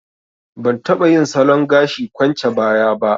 Ban taɓa yin salon gashi kwance baya ba